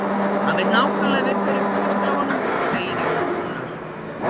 Hann veit nákvæmlega við hverju er búist af honum, segir Jón Rúnar.